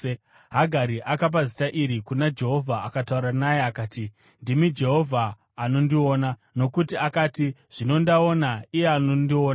Hagari akapa zita iri kuna Jehovha akataura naye akati: “Ndimi Jehovha anondiona,” nokuti akati, “Zvino ndaona Iye anondiona.”